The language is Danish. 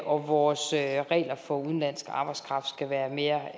og vores regler for udenlandsk arbejdskraft skal være mere